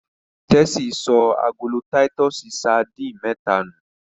Tessy sọ agolo Titus sardines méta nu.